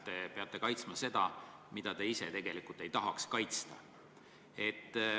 Te peate kaitsma midagi, mida te tegelikult ei tahaks kaitsta.